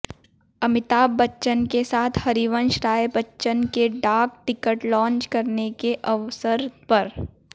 अमिताभ बच्चन के साथ हरिवंश राय बच्चन के डाक टिकट लॉन्च करने के अवसर पर